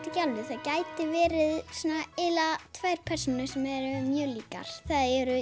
ekki alveg það gætu verið tvær persónur sem eru mjög líkar það eru